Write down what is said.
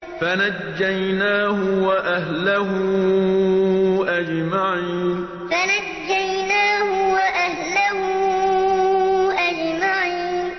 فَنَجَّيْنَاهُ وَأَهْلَهُ أَجْمَعِينَ فَنَجَّيْنَاهُ وَأَهْلَهُ أَجْمَعِينَ